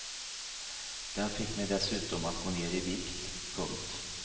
Den fick mig dessutom att gå ner i vikt. punkt